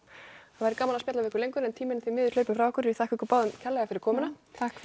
það væri gaman að spjalla ykkur lengur en tíminn er því miður hlaupinn frá okkur ég þakka ykkur báðum kærlega fyrir komuna takk fyrir